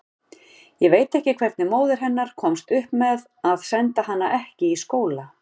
Ég veit ekki hvernig móðir hennar komst upp með að senda hana ekki í skóla.